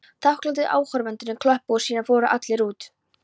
Þakklátir áhorfendurnir klöppuðu og síðan fóru allir út.